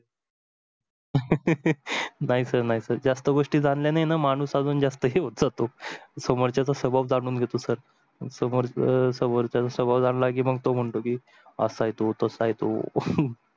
नाही sir नाही sir जास्त गोष्टी जाणल्याणी णा माणूस अजून जास्त हे होत जातो सोमरच्या स्वभाव जाणून घेतो sir सोमरच सोमरच्याचा स्वभाव जाणला की तो म्हणतो असा आहे, तो तसा आहे तो